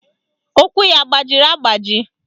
Ụkwụ ya agbajiri agbaji?